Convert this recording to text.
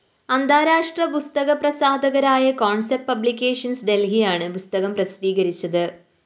അന്താരാഷ്ട്ര പുസ്തക പ്രസാധകരായ കോണ്‍സെപ്റ്റ് പബ്ലിക്കേഷൻസ്‌ ഡല്‍ഹിയാണ് പുസ്തകം പ്രസിദ്ധീകരിക്കുന്നത്